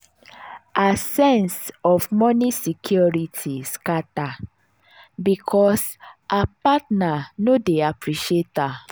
her sense of moni security scata because her partner no dey appreciate her.